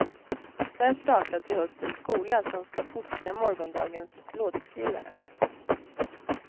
Där startas i höst en skola som ska fostra morgondagens låtskrivare.